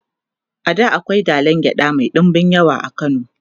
a da akwai dalan gyaɗa Mai ɗinbin yawa a kano